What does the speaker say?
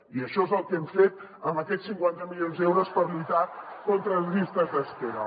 i això és el que hem fet amb aquests cinquanta milions d’euros per lluitar contra les llistes d’espera